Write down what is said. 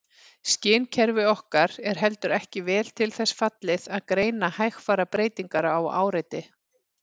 Skynkerfi okkar er heldur ekki vel til þess fallið að greina hægfara breytingar á áreiti.